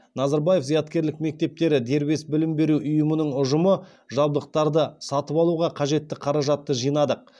назарбаев зияткерлік мектептері дербес білім беру ұйымының ұжымы жабдықтарды сатып алуға қажетті қаражатты жинадық